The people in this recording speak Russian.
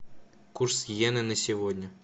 курс йены на сегодня